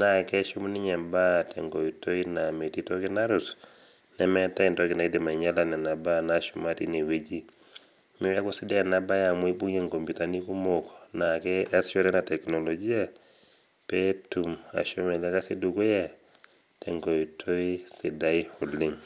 naa keshum ninye ntokiting tenkoitoi naa metii toki nadol ,nemeetae entoki naaidim ainyala nena baa naashuma tineweji .neeku keisidai ena siai amu kibungie nkoputani kumok naasishore ena teknolojia pee etum ashomo ele kasi dukuya tenkoitoi sidai oleng.